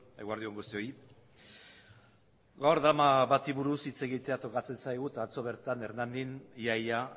eguerdi on guztioi gaur drama bati buruz hitz egitea tokatzen zaigu eta atzo bertan hernanin ia ia